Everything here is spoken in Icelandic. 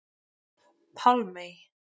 Pálmey